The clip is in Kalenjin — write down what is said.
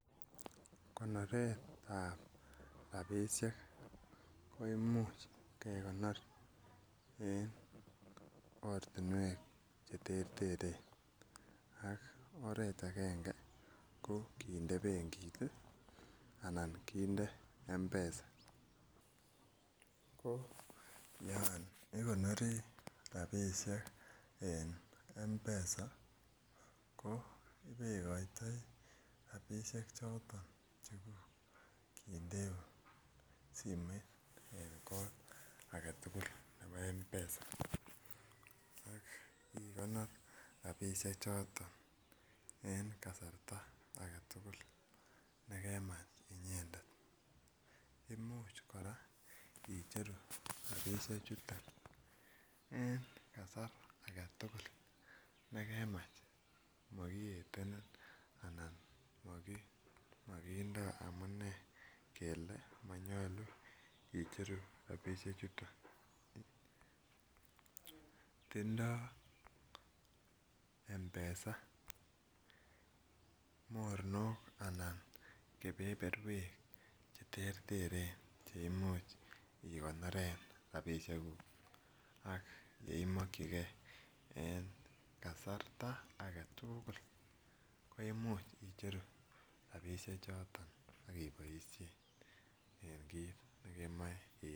Konoret ab rabisiek ko Imuch kegonor en ortinwek Che terter ak oret agenge ko kinde benkit anan kinde mpesa ko yon igonori rabisiek en mpesa ko ibegoitoi rabisiek choton cheguk kindeun simoit en kot age tugul nebo mpesa ak igonor rabisiechuto en kasarta age tugul ne kemach inyendet Imuch kora icheru rabisiek chu en kasar age tugul ne kemach mokietenin ko kindoi amune kele manyolu icheru rabisiek chuton tindoi mpesa mornok anan keberberwek Che terter Che Imuch igonoren rabisiekuk ak yeimokyige en kasarta age tugul koimuch icheru rabisiek choton ak iboisien en kit nekemoe iboisien